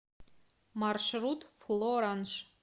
маршрут флоранж